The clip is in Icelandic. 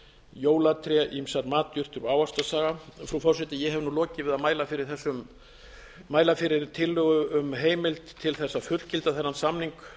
jólatré ýmsar matjurtir og ávaxtasafa frú forseti ég hef nú lokið við að mæla fyrir tillögu um heimild til þess að fullgilda þennan samning